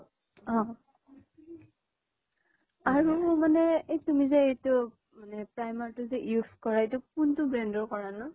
অহ । আৰু মানে এই তুমি যে এইতো মানে primer টো যে use কৰা. এইতো কিনটো brand ৰ কৰানো?